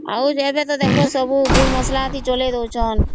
ଆଉ ଯେନଥେ ଦେଖବା ଗୁଣ୍ଡ ମସଲା ହିଁ ଚେଇଁ ଦଉଛନ୍ତ